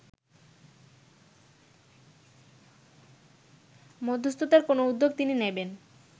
মধ্যস্ততার কোনো উদ্যোগ তিনি নেবেন